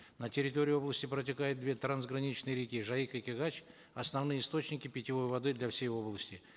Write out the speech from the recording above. на территории области протекают две трансграничные реки жайык и кигач основные источники питьевой воды для всей области